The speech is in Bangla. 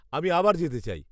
-আমি আবার যেতে চাই।